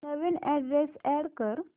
नवीन address add कर